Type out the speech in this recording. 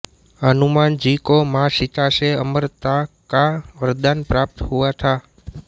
हनुमान जी को मां सीता से अमरता का वरदान प्राप्त हुआ था